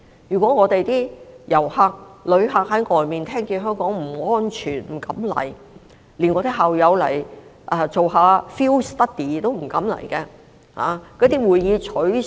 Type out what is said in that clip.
如果旅客在外面聽到香港不安全，他們便不敢前來，連我的校友也不敢來進行 field study， 會議也全部取消。